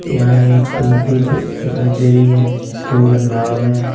यहाँ एक नदी दिखाई दे रही है इसके अंदर नाव है।